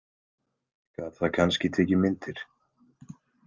Gat það kannski tekið myndir?